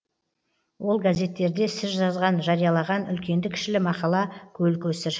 ол газеттерде сіз жазған жариялаған үлкенді кішілі мақала көл көсір